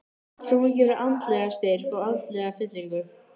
Trúin gefur andlegan styrk og andlega fyllingu.